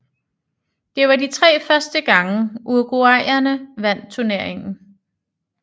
Det var de tre første gange uruguayanerne vandt turneringen